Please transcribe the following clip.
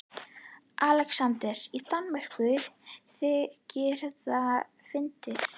ALEXANDER: Í Danmörku þykir þetta fyndið!